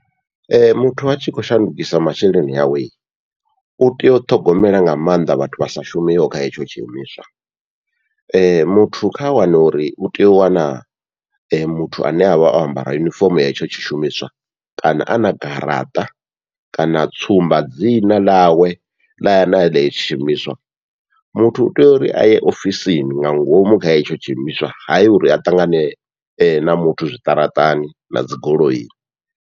Ee muthu atshi khou shandukisa masheleni awe, utea u ṱhogomela nga maanḓa vhathu vha sa shumiho kha hetsho tshi imiswa muthu kha wane uri utea u wana muthu ane avha o ambara yunifomo ya hetsho tshi shumiswa, kana ana garaṱa kana tsumba dzina ḽawe ḽa ḽa hetsho tshiimiswa muthu utea uri aye ofisini nga ngomu kha hetsho tshiimiswa, hayi uri a ṱangane na muthu zwiṱaraṱani na dzigoloi.